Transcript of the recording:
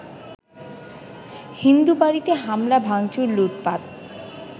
হিন্দুবাড়িতে হামলা ভাঙচুর-লুটপাট